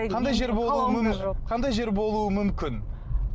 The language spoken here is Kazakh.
қандай жер болуы қандай жер болуы мүмкін